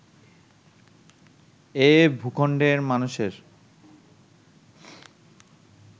এ ভূখণ্ডের মানুষের